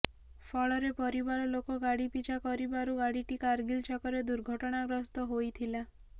ଫଳରେ ପରିବାର ଲୋକ ଗାଡ଼ି ପିଛା କରିବାରୁ ଗାଡ଼ିଟି କାରଗିଲ୍ ଛକରେ ଦୁର୍ଘଟଣାଗ୍ରସ୍ତ ହୋଇଥିଲା